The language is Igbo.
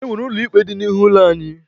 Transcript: E nwere ụlọ ikpe dị n'ihu ụlọ anyị.